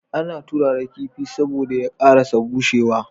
Ana turara kifi saboda ya karasa bushe wa